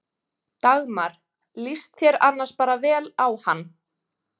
Dagmar: Líst þér annars bara vel á hann?